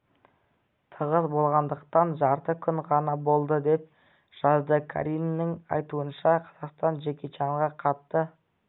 тығыз болғандықтан жарты күн ғана болды деп жазды қариннің айтуынша қазақстан джеки чанға қатты